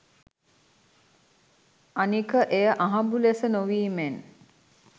අනික එය අහඹු ලෙස නොවීමෙන්